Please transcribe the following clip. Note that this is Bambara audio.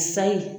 Sayi